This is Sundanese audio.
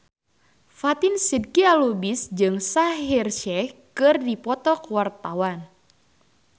Fatin Shidqia Lubis jeung Shaheer Sheikh keur dipoto ku wartawan